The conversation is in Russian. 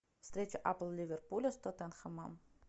встреча апл ливерпуля с тоттенхэмом